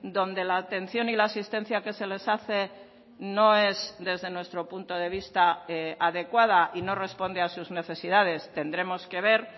donde la atención y la asistencia que se les hace no es desde nuestro punto de vista adecuada y no responde a sus necesidades tendremos que ver